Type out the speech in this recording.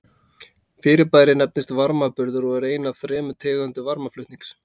Fyrirbærið nefnist varmaburður og er ein af þremur tegundum varmaflutnings.